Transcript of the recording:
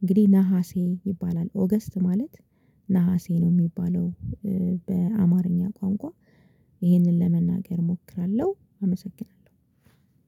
እንግዲህ ነሀሴ ይባላል። ኦገስት ማለት ነሀሴ ነው የሚባለው በአማርኛ ቋንቋ ይህንን ለመናገር እሞክራለሁ አመሰግናለሁ።